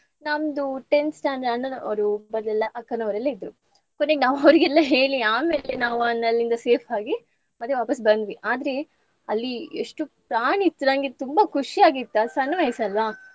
ನಮ್ದು tenth standard ಅಣ್ಣನವರು, ಅಕ್ಕನವರೆಲ್ಲ ಇದ್ರು. ಕೊನೆಗೆ ನಾವ್ ಅವ್ರಿಗೆಲ್ಲ ಹೇಳಿ ಆಮೇಲೆ ನಾವು ಅಲ್ಲಿಂದ safe ಆಗಿ ಮತ್ತೆ ವಾಪಸ್ಸ್ ಬಂದ್ವಿ. ಆದ್ರೆ ಅಲ್ಲಿ ಎಷ್ಟು ಪ್ರಾಣಿ ಇತ್ತು ನಂಗೆ ತುಂಬಾ ಖುಷಿ ಆಗಿತ್ತ್ ಅದ್ ಸಣ್ಣ ವಯಸ್ಸ್ ಅಲ್ವಾ.